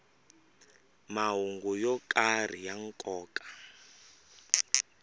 mahungu yo karhi ya nkoka